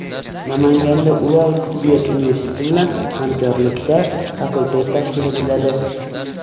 Namanganda Ural tibbiyot universiteti bilan hamkorlikda fakultet tashkil etiladi.